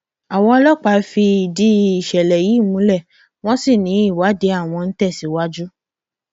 àwọn ọlọpàá fìdí ìṣẹlẹ yìí múlẹ wọn sì ní ìwádìí àwọn ń tẹsíwájú